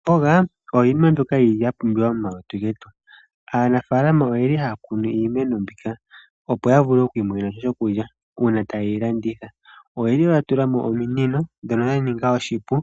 Iikwamboga oyo iinima mbyoka ya pumbiwa momalutu getu. Aanafaalama ohaya kunu iimeno mbika, opo ya mone sha shokulya uuna taye yi landitha. Oya tula mo ominino shoka she ya ningila oshipu,